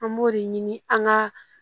An b'o de ɲini an ka